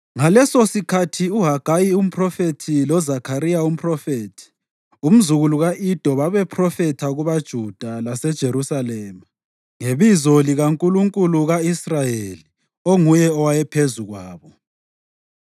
Ngalesosikhathi uHagayi umphrofethi loZakhariya umphrofethi, umzukulu ka-Ido babephrofitha kubaJuda laseJerusalema ngebizo likaNkulunkulu ka-Israyeli onguye owayephezu kwabo.